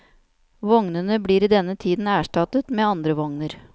Vognene blir i denne tiden erstattet med andre vogner.